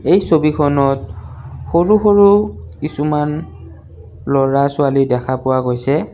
এই ছবিখনত সৰু সৰু কিছুমান ল'ৰা-ছোৱালী দেখা পোৱা গৈছে।